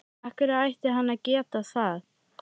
Af hverju ætti hann að geta það?